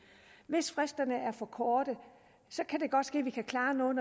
hvis fristerne er for korte kan det godt ske at vi kan klare noget